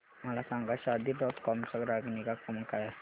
मला सांगा Shaadi dot com चा ग्राहक निगा क्रमांक काय आहे